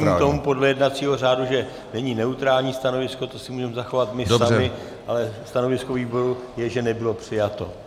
Čili rozumím tomu podle jednacího řádu, že není neutrální stanovisko, to si můžeme zachovat my sami, ale stanovisko výboru je, že nebylo přijato.